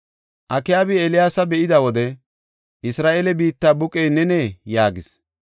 Akaabi Eeliyaasa be7ida wode, “Isra7eele biitta buqey nenee?” yaagis.